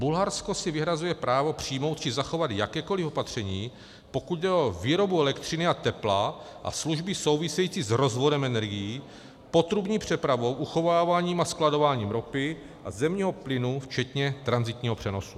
Bulharsko si vyhrazuje právo přijmout či zachovat jakékoli opatření, pokud jde o výrobu elektřiny a tepla a služby související s rozvodem energií, potrubní přepravou, uchováváním a skladováním ropy a zemního plynu včetně tranzitního přenosu.